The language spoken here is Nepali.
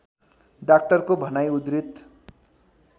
डाक्टरको भनाइ उद्धृत